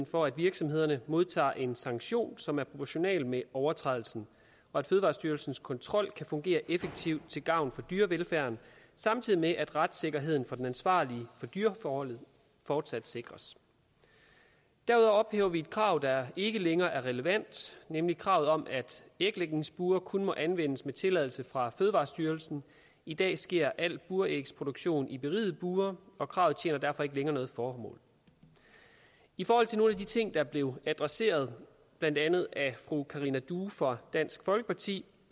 for at virksomhederne modtager en sanktion som er proportional med overtrædelsen og at fødevarestyrelsens kontrol kan fungere effektivt til gavn for dyrevelfærden samtidig med at retssikkerheden for den ansvarlige for dyreforholdet fortsat sikres derudover ophæver vi et krav der ikke længere er relevant nemlig kravet om at æglægningsbure kun må anvendes med tilladelse fra fødevarestyrelsen i dag sker al burægsproduktion i berigede bure og kravet tjener derfor ikke længere noget formål i forhold til nogle af de ting der er blevet adresseret blandt andet af fru karina due fra dansk folkeparti